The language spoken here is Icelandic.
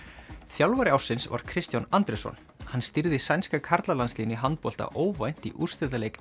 þjálfari ársins var Kristján Andrésson hann stýrði sænska karlalandsliðinu í handbolta óvænt í úrslitaleik